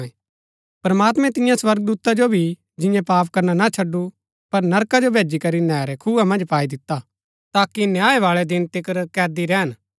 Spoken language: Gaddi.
प्रमात्मैं तियां स्वर्गदूता जो भी जिऐ पाप करना ना छड़डु पर नरका जो भेजी करी नैहरै खुआ मन्ज पाई दिता ताकि न्याय बाळै दिन तिकर कैदी रैहन